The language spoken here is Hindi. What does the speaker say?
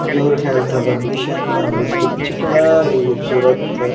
योर हेल्थ अवर मिशन और इसके पीछे बड़ा ही खूबसूरत--